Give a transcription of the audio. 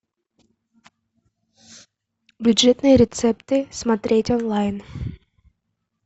бюджетные рецепты смотреть онлайн